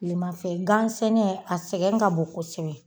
Tilemafɛ gan sɛnɛ a sɛgɛn ka bon kosɛbɛ